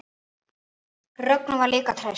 Rögnu var líka treyst.